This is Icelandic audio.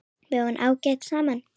Við vorum ágæt saman.